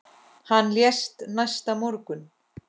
Hann lést næsta morgun.